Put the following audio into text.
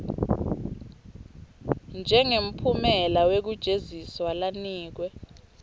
njengemphumela wekujeziswa lanikwe